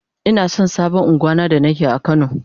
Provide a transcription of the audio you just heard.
Ina son sabon ungwan na da ke a kano.